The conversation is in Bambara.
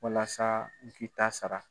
Walasa n k'i ta sara.